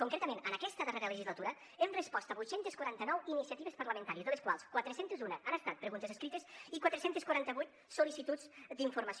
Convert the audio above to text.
concretament en aquesta darrera legislatura hem respost a vuit cents i quaranta nou iniciatives parlamentàries de les quals quatre cents i un han estat preguntes escrites i quatre cents i quaranta vuit sol·licituds d’informació